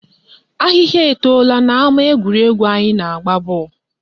Ahịhịa etola n'ama egwuregwu anyị na-agba bọọlụ